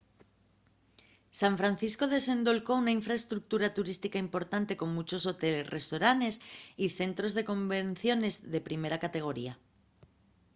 san francisco desendolcó una infraestructura turística importante con munchos hoteles restoranes y centros de convenciones de primera categoría